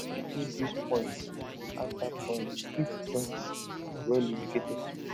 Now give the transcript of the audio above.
refill grease points after ploughing keep joints welllubricated